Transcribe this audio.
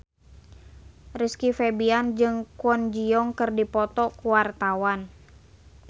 Rizky Febian jeung Kwon Ji Yong keur dipoto ku wartawan